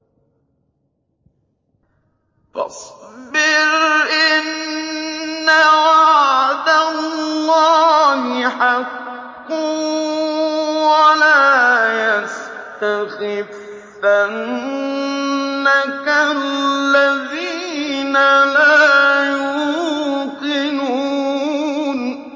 فَاصْبِرْ إِنَّ وَعْدَ اللَّهِ حَقٌّ ۖ وَلَا يَسْتَخِفَّنَّكَ الَّذِينَ لَا يُوقِنُونَ